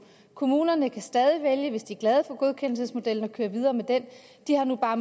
kommunerne kan stadig hvis de er glade for godkendelsesmodellen vælge at køre videre med den de har bare